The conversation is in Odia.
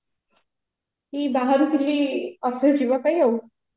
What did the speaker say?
ଏଇ ବାହାରୁଥିଲି office ଯିବା ପାଇଁ ଆଉ